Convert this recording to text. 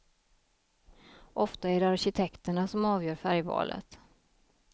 Ofta är det arkitekterna som avgör färgvalet.